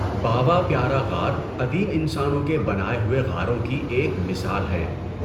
باوا پیارا غار قدیم انسانوں کے بنائے ہوئے غاروں کی ایک مثال ہیں۔